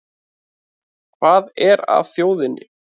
Hvað er að þjóðinni